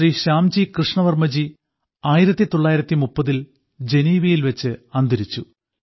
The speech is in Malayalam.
ശ്രീ ശ്യാംജി കൃഷ്ണവർമ്മജി 1930ൽ ജനീവയിൽ വച്ച് അന്തരിച്ചു